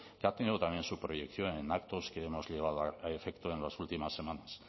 que ha tenido también su proyección en actos que hemos llevado a efecto en las últimas semanas